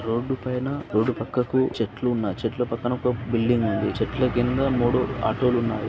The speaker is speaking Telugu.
రోడ్డు పైన రోడ్డు పక్కకు చెట్లు ఉన్నాయి. చెట్ల పక్కన ఒక బిల్డింగ్ ఉంది చెట్ల కింద మూడు ఆటో లు ఉన్నాయి.